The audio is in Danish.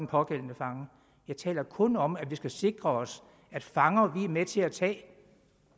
pågældende fanger jeg taler kun om at vi skal sikre os at fanger vi er med til at tage og